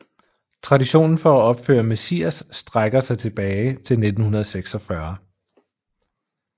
Traditionen for at opføre Messias strækker sig tilbage til 1946